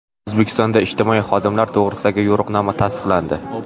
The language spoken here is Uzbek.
O‘zbekistonda ijtimoiy xodimlar to‘g‘risidagi yo‘riqnoma tasdiqlandi.